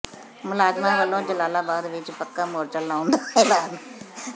ਮੁਲਾਜ਼ਮਾਂ ਵੱਲੋਂ ਜਲਾਲਾਬਾਦ ਵਿੱਚ ਪੱਕਾ ਮੋਰਚਾ ਲਾਉਣ ਦਾ ਐਲਾਨ